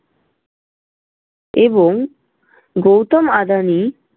এবং গৌতম আদানি